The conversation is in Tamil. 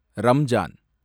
ரம்ஜான்